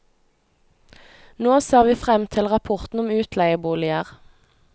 Nå ser vi frem til rapporten om utleieboliger.